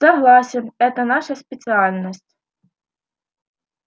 согласен это наша специальность